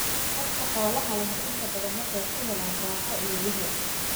Dadka xoolaha leh inta badan waxay ka helaan raaxo iyo wehel.